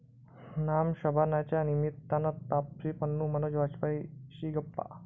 नाम शबाना'च्या निमित्तानं तापसी पन्नू, मनोज वाजपेयीशी गप्पा